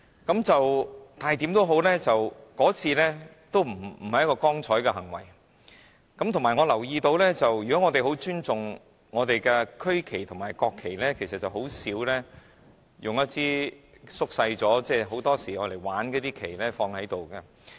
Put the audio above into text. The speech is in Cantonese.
無論如何，那不是光彩的行為，而且我留意到，如果我們很尊重我們的區旗和國旗，其實甚少會擺放縮小了的、通常只是作為玩意的旗子。